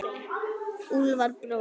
Úlfar bróðir.